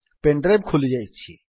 pain drive ଖୋଲିଯାଇଛି